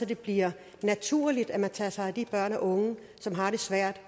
det bliver naturligt at man tager sig af de børn og unge som har det svært